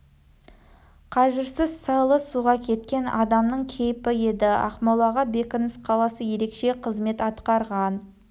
қажырсыз салы суға кеткен адамның кейпі еді ақмола бекініс қаласы ерекше қызмет атқарған